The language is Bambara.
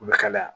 U bɛ kalaya